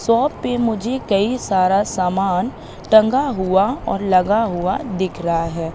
Shop पे मुझे कई सारा सामान टंगा हुआ और लगा हुआ दिख रहा है।